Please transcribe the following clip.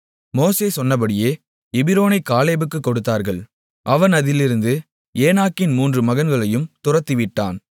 மோசே சொன்னபடியே எபிரோனைக் காலேபுக்குக் கொடுத்தார்கள் அவன் அதிலிருந்த ஏனாக்கின் மூன்று மகன்களையும் துரத்திவிட்டான்